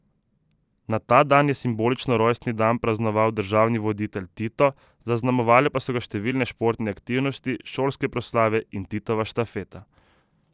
Na ta dan je simbolično rojstni dan praznoval državni voditelj Tito, zaznamovale pa so ga številne športne aktivnosti, šolske proslave in Titova štafeta.